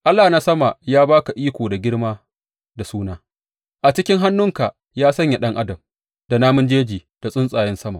Allah na sama ya ba ka iko da girma da suna; a cikin hannunka ya sanya ɗan adam, da namun jeji da tsuntsayen sama.